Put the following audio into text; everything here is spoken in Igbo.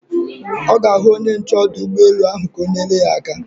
Ọ ga-ahụ onye nche ọdụ ụgbọelu ka o nyere ya aka